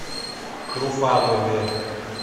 труфанове